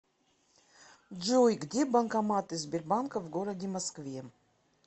джой где банкоматы сбербанка в городе москве